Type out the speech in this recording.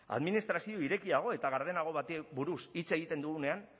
administrazio irekiago eta gardenago bati buruz hitz egiten dugunean